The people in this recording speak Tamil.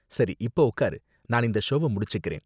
சரி இப்ப உக்காரு, நான் இந்த ஷோவ முடிச்சிக்கறேன்.